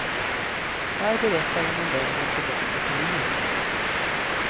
Här berättar hon om vägen tillbaka till livet.